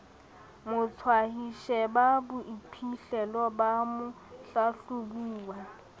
motshwayi sheba boiphihlelo ba mohlahlobuwa